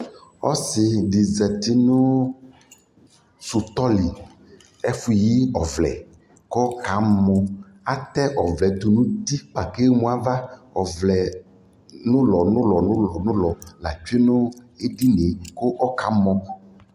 Ɔsi dι zati nʋ sutɔ lι, ɛfʋ yi ɔvlɛ kʋ ɔkamɔ Atɛ ɔvlɛ tʋ nʋ uti kpa kʋ emu ava Ɔvlɛ nʋlɔnʋlɔnʋlɔ la tsue nʋ edini yɛ kʋ ɔkamɔ